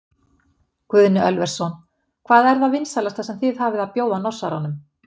Guðni Ölversson: Hvað er það vinsælasta sem þið hafið að bjóða Norsaranum?